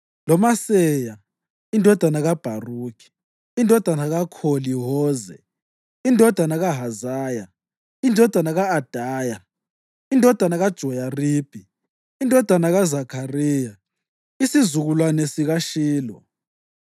loMaseya indodana kaBharukhi, indodana kaKholi-Hoze, indodana kaHazaya, indodana ka-Adaya, indodana kaJoyaribi, indodana kaZakhariya, isizukulwane sikaShilo.